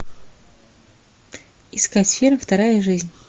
искать фильм вторая жизнь